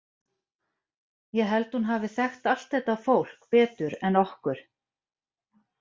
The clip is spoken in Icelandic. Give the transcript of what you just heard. Ég held að hún hafi þekkt allt þetta fólk betur en okkur.